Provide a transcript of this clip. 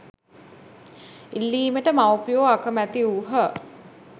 ඉල්ලීමට මවුපියෝ අකැමැති වූහ.